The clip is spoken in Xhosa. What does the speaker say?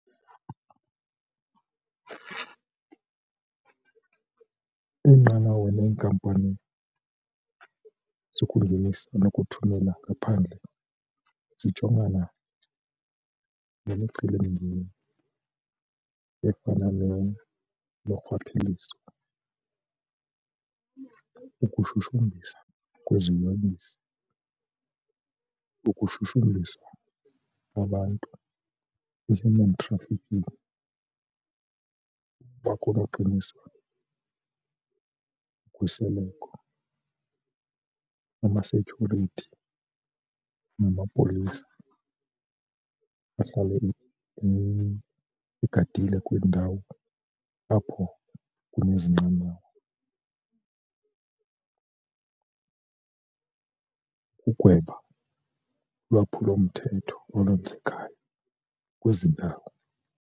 Iinqanawe neenkampani zokungenisa nokuthumela ngaphandle zijongana nemicelimngeni efana norhwaphilizo, ukushushumbiswa kweziyobisi, ukushushumbiswa abantu i-human trafficking. Uba kunoqiniswa ukhuseleko amasetyhurithi namapolisa ahlale egadile kwiindawo apho kunezi nqanawa. Ukugweba ulwaphulo mthetho olwenzekayo kwezi ndawo.